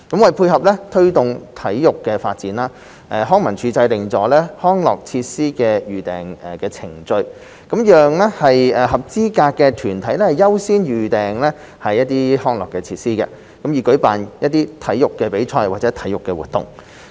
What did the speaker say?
為配合推動體育發展，康樂及文化事務署制訂了"康樂設施的預訂程序"，讓合資格的團體優先預訂康樂設施，以舉辦體育比賽或體育活動。